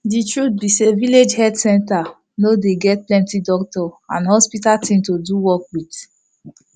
de truth be say village health center no dey get plenti doctor and hospital thing to do work with